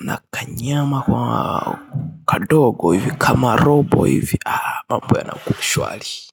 nakanyama kwa kadogo hivi kama robo hivi mambo yanakuwa shuwali.